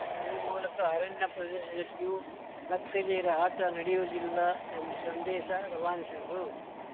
ಈ ಮೂಲಕ ಅರಣ್ಯ ಪ್ರದೇಶದಲ್ಲಿಯೂ ನಕ್ಸಲೀಯರ ಆಟ ನಡೆಯುವುದಿಲ್ಲ ಎಂಬ ಸಂದೇಶ ರವಾನಿಸಿದರು